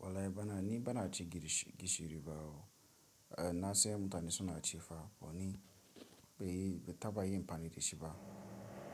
Walai bana ni bana ci gishiri ba na sai mutane suna ci fa, bani be taba yi m pani ci shi ba